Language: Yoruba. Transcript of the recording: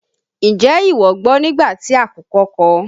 N jẹ́ ìwọ gbọ́ nígbà tí àkùkọ kọ?